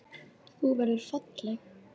Þú verður falleg.